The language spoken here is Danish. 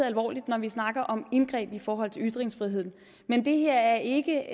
alvorligt når vi snakker om indgreb i forhold til ytringsfriheden er det her ikke